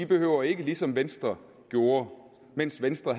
behøver ligesom venstre gjorde mens venstre